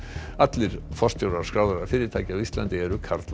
allir forstjórar skráðra fyrirtækja á Íslandi eru karlar